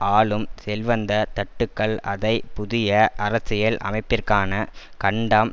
ஆளும் செல்வந்த தட்டுக்கள் அதை புதிய அரசியல் அமைப்பிற்கான கண்டம்